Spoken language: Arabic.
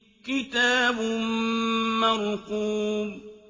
كِتَابٌ مَّرْقُومٌ